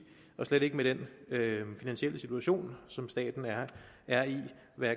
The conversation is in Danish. og slet ikke med den finansielle situation som staten er er i